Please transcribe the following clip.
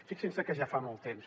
fixin se que ja fa molt temps